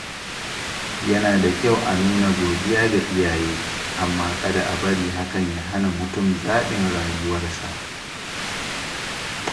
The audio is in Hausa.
Yana da kyau a nuna godiya ga iyaye, amma kada a bari hakan ya hana mutum zaɓin rayuwarsa.